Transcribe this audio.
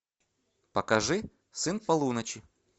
покажи сын полуночи